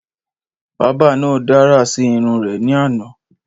Bábà náà dárà sí irun rè ní àná